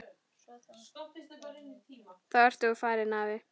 Þá ert þú farinn, afi.